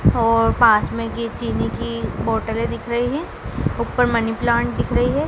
और पास ये चीनी की बोटले दिख रही हैं ऊपर मनी प्लांट दिख रही है।